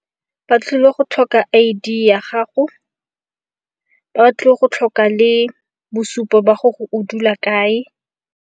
Ba tlile go tlhoka I_D ya gago, ba tlo go tlhoka le bosupo ba gore o dula kae.